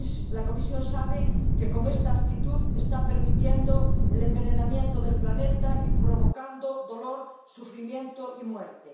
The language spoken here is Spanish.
La Comisión sabe que con esta actitud está permitiendo el envenenamiento del planeta y provocando dolor, sufrimiento y muerte.